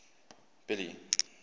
billy